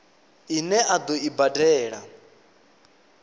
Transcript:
ine a ḓo i badela